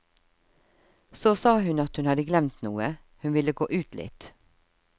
Så sa hun at hun hadde glemt noe, hun ville gå ut litt.